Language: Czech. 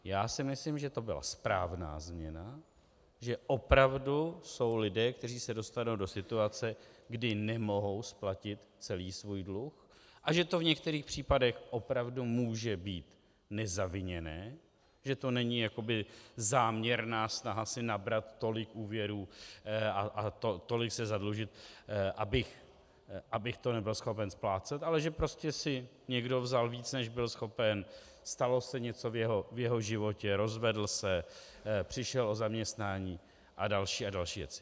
Já si myslím, že to byla správná změna, že opravdu jsou lidé, kteří se dostanou do situace, kdy nemohou splatit celý svůj dluh, a že to v některých případech opravdu může být nezaviněné, že to není jakoby záměrná snaha si nabrat tolik úvěrů a tolik se zadlužit, abych to nebyl schopen splácet, ale že prostě si někdo vzal více, než byl schopen, stalo se něco v jeho životě, rozvedl se, přišel o zaměstnání a další a další věci.